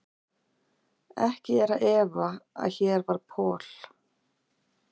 Ekki er að efa, að hér var Paul